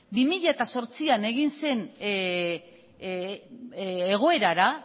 bi mila zortzian egin zen egoerara